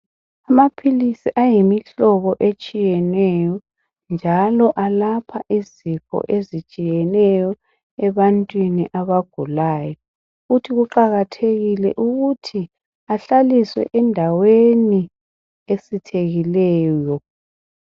Amaphilisi ayimihlobo etshiyeneyo njalo alapha izifo ezitshiyeneyo ebantwini abagulayo futhi kuqakathekile ukuthi ahlaliswe endaweni esithekileyo.